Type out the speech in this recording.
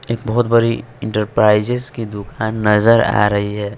एक बहोत बड़ी इंटरप्राइजेज की दुकान नजर आ रही है।